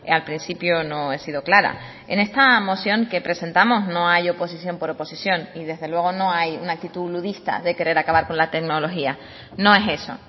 al principio no he sido clara en esta moción que presentamos no hay oposición por oposición y desde luego no hay una actitud ludista de querer acabar con la tecnología no es eso